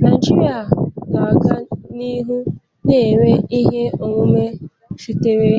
Naijiria ga-aga n'ihu na-enwe ihe onwunwe sitere